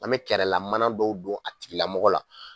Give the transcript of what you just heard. An me kɛrɛlamana dɔw don a tigilamɔgɔ la